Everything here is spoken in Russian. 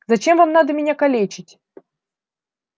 зачем вам надо меня калечить